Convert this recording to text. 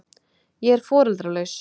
Ég er foreldralaus.